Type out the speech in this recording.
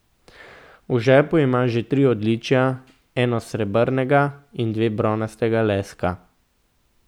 V žepu ima že tri odličja, eno srebrnega in dve bronastega leska.